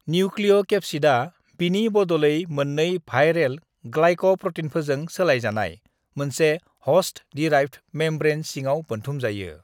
"निउक्लिय'केप्सिडआ, बिनि बदलै मोननै भाइरेल ग्लाइक'प्र'टीनफोरजों सोलायजानाय मोनसे ह'स्ट-दिराइभ्द मेमब्रैन सिङाव बोनथुमजायो।"